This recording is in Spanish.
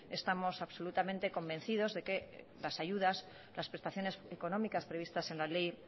estamos absolutamente convencidos de que las ayudas las prestaciones económicas previstas en la ley